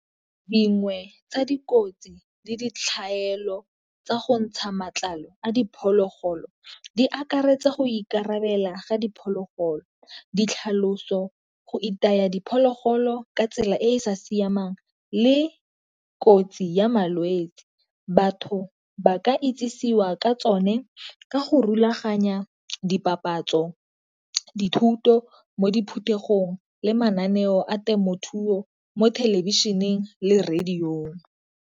Dingwe tsa dikotsi le ditlhaelo tsa go ntsha matlalo a diphologolo di akaretsa go ikarabelela ga diphologolo, ditlhaloso, go itaya diphologolo ka tsela e e sa siamang, le kotsi ya malwetsi. Batho ba ka itsisiwa ka tsone ka go rulaganya di papatso dithuto mo diphuthelong le mananeo a temothuo mo thelebišeneng le radio-ng.